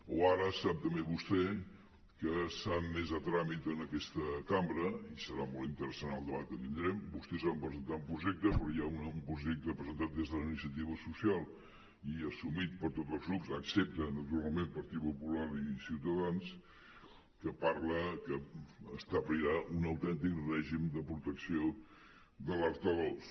o ara sap també vostè que s’han admès a tràmit en aquesta cambra i serà molt interessant el debat que tindrem vostès van presentar un projecte però hi ha un projecte que presentat des de la iniciativa social i assumit per tots els grups excepte naturalment pel partit popular i ciutadans que parla que establirà un autèntic règim de protecció d’alertadors